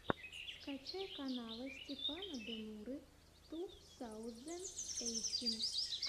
скачай каналы степана демуры ту саузэнд эйтин